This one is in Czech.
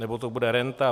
Nebo to bude renta?